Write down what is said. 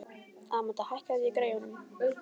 Amadea, hækkaðu í græjunum.